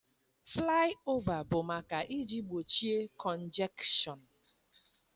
Flaị ova bụ maka iji gbochie kọnjekshọn.